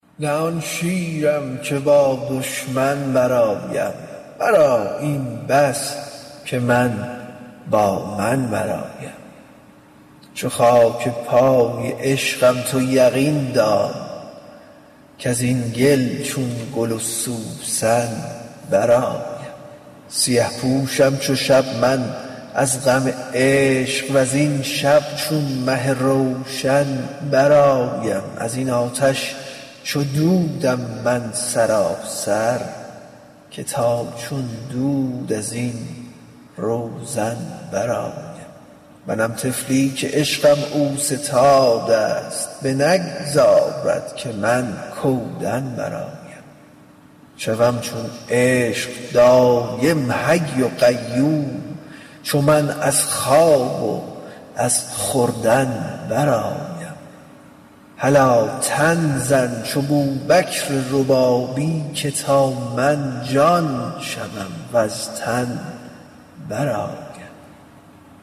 نه آن شیرم که با دشمن برآیم مرا این بس که من با من برآیم چو خاک پای عشقم تو یقین دان کز این گل چون گل و سوسن برآیم سیه پوشم چو شب من از غم عشق وزین شب چون مه روشن برآیم از این آتش چو دود م من سراسر که تا چون دود از این روزن برآیم منم طفلی که عشقم اوستاد است بنگذارد که من کودن برآیم شوم چون عشق دایم حی و قیوم چو من از خواب و از خوردن برآیم هلا تن زن چو بوبکر ربابی که تا من جان شوم وز تن برآیم